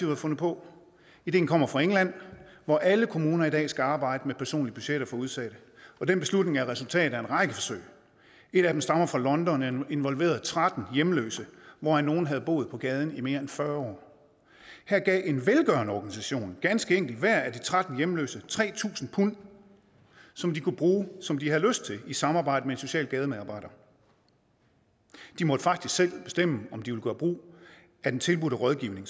har fundet på ideen kommer fra england hvor alle kommuner i dag skal arbejde med personlige budgetter for udsatte og den beslutning er et resultat af en række forsøg et af dem stammer fra london og involverede tretten hjemløse hvoraf nogle havde boet på gaden i mere end fyrre år her gav en velgørende organisation ganske enkelt værd af de tretten hjemløse tre tusind pund som de kunne bruge som de havde lyst til i samarbejde med en social gademedarbejder de måtte faktisk selv bestemme om de ville gøre brug af den tilbudte rådgivning